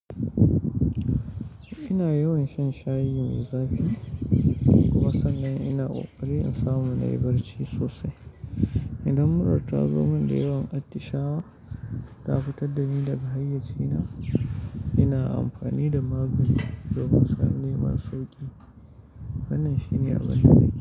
Ina yawan shan shayi mai zafi kuma sannan ina ƙoƙari in samu na yi barci sosai. Idan murar ta zo min da yawan atishawa da fitar da ni daga hayyacina, ina amfani da magunguna domin neman sauki. Wannan shine abin da nake yi.